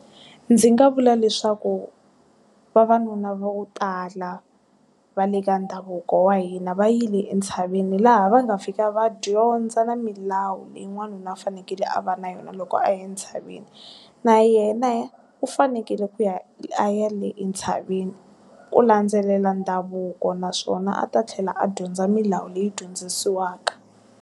Ndzi nga vula leswaku, vavanuna va ku tala, va le ka ndhavuko wa hina va yile entshaveni laha va nga fika va dyondza na milawu leyi wanuna u fanekele a va na yona loko a ye ntshaveni. Na yena u fanekele ku ya a ya le entshaveni, ku landzelela ndhavuko naswona a ta tlhela a dyondza milawu leyi dyondzisiwaka.